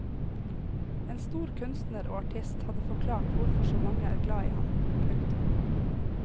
En stor kunstner og artist hadde forklart hvorfor så mange er glad i ham. punktum